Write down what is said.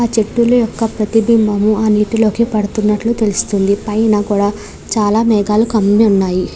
ఆ చెట్టులు యొక్క ప్రతిభంబము ఆ నీటిలోకి పడుతూ ఉన్నట్లు తెలుస్తువుంది. పైన కూడా చాలా మేఘాలు కమ్మి ఉన్నాయి. .>